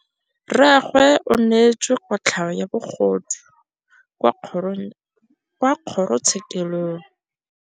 Rragwe o neetswe kotlhaô ya bogodu kwa kgoro tshêkêlông.